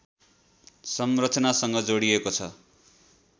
संरचनासँग जोडिएको छ